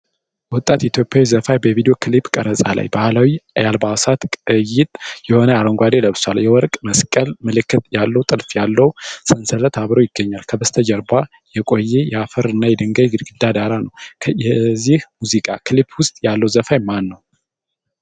ወጣት ኢትዮጵያዊ ዘፋኝ በቪዲዮ ክሊፕ ቀረፃ ላይ። ባህላዊ የአልባሳት ቅይጥ የሆነ አረንጓዴ ለብሷል። የወርቅ መስቀል ምልክት ያለው ጥልፍ ያለው ሰንሰለት አብሮ ይገኛል። ከበስተጀርባ የቆየ የአፈር እና የድንጋይ ግድግዳ ዳራ ነው። ከዚህ ሙዚቃ ክሊፕ ውስጥ ያለው ዘፋኝ ማነው?